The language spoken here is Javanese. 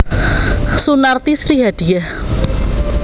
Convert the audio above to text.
Sunarti Sri Hadiyah